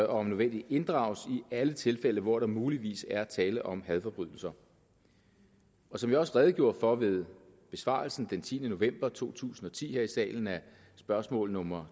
om nødvendigt inddrages i alle tilfælde hvor der muligvis er tale om hadforbrydelser og som jeg også redegjorde for ved besvarelsen den tiende november to tusind og ti her i salen af spørgsmål nummer